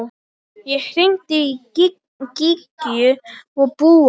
Ég hringdi í Gígju og Búa.